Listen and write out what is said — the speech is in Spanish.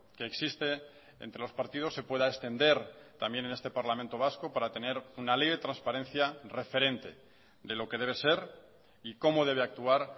que existe entre los partidos se pueda extender también en este parlamento vasco para tener una ley de transparencia referente de lo que debe ser y cómo debe actuar